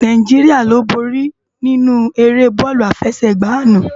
Náijiriá lo bóri ninú éré bòlú áfèsègbá àná